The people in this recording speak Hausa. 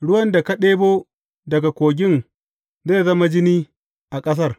Ruwan da ka ɗebo daga kogin zai zama jini a ƙasar.